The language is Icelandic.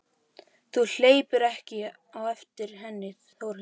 Þú hleypur ekki á eftir henni Þórhildur.